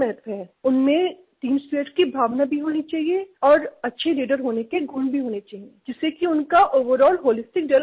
उनमें team spirit की भावना भी होनी चाहिए और अच्छे लीडर होने के गुण भी होने चाहिए जिससे कि उनका ओवरॉल होलिस्टिक डेवलपमेंट हो